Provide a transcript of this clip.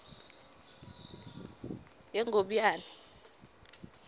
yengobiyane